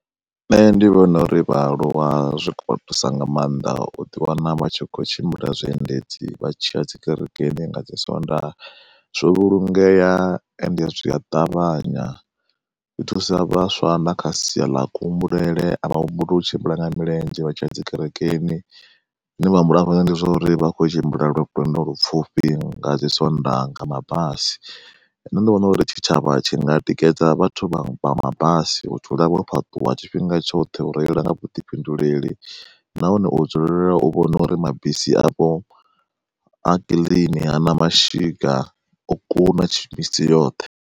Nṋe ndi vhona uri vhaaluwa zwi khou vha thusa nga maanḓa u ḓi wana vha tshi kho tshimbila zwiendedzi vha tshi ya dzi kerekeni nga dzi swondaha zwo vhulungea, ende zwi a ṱavhanya. Zwi thusa vhaswa na kha sia ḽa kuhumbulele avha humbuli u tshimbila nga milenzhe vha tshiya dzi kerekeni, zwine vha humbula afha ndi zwa uri vha khou tshimbila lwendo lupfufhi nga dzi swondaha nga mabasi. Nṋe ndi vhona uri tshitshavha tshi nga tikedza vhathu vha mabasi vha dzule vho fhaṱuwa tshifhinga tshoṱhe u reila nga vhuḓifhinduleli nahone u dzulela u vhona uri mabisi avho a kiḽini hana mashika o kuna yoṱhe.